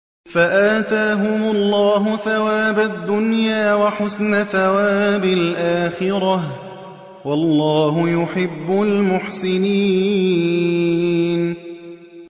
فَآتَاهُمُ اللَّهُ ثَوَابَ الدُّنْيَا وَحُسْنَ ثَوَابِ الْآخِرَةِ ۗ وَاللَّهُ يُحِبُّ الْمُحْسِنِينَ